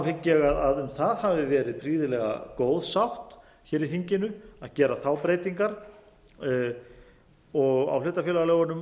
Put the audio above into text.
hygg ég að um það hafi verið prýðilega góð sátt í þinginu að gera þær breytingar á hlutafélagalögunum